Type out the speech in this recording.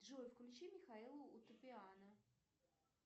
джой включи михаила утопиана